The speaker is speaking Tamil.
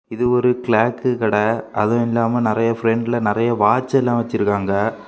இது ஒரு கிளாக் கடெ அதுவும் இல்லாம நறைய பிரண்டுல நறைய வாட்ச்செல்லா வச்சிருக்காங்க.